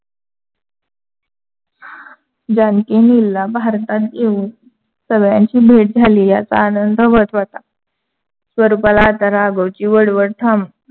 जानकी, नीलला भारतात येऊन सगळ्यांची भेट झाली याची आनंद महत्‍त्‍वाचा. स्वरूपाला आता राघवची वळवळ थांब